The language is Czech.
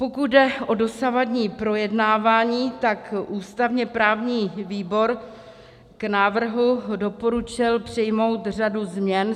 Pokud jde o dosavadní projednávání, tak ústavně-právní výbor k návrhu doporučil přijmout řadu změn.